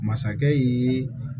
Masakɛ ye